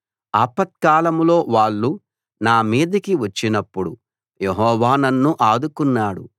ఆపత్కాలంలో వాళ్ళు నా మీదకి వచ్చినప్పుడు యెహోవా నన్ను ఆదుకున్నాడు